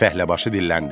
Fəhləbaşı dilləndi: